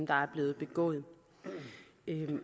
der er blevet begået